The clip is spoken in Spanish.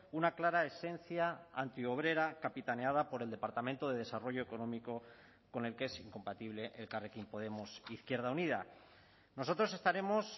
una clara esencia antiobrera capitaneada por el departamento de desarrollo económico con el que es incompatible elkarrekin podemos izquierda unida nosotros estaremos